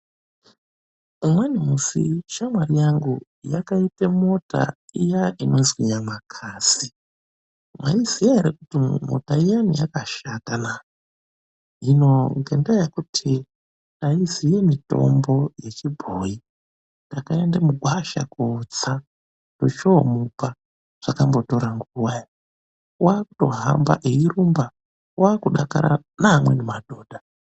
Umweni musi shamwari yangu yakaita mota iya inonzi nyamakasi mwaiziva ere kuti mota iyani yakashata naa, hino ngendaa yekuti haiziva mitombo yechinuakare takaenda kundotsa mugwasha tochomupa zvakambotora nguva ere waakuhamba eirumba, waakudakara neamweni madhodha.